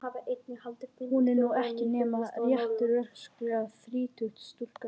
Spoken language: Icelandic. Hún er nú ekki nema rétt rösklega þrítug stúlkan sú.